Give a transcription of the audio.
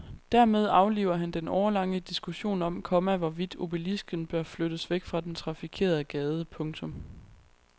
Dermed afliver han den årelange diskussion om, komma hvorvidt obelisken bør flyttes væk fra den trafikerede gade. punktum